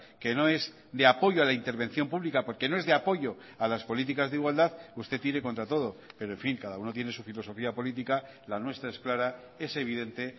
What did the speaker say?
que no es de apoyo a la intervención pública porque no es de apoyo a las políticas de igualdad usted tire contra todo pero en fin cada uno tiene su filosofía política la nuestra es clara es evidente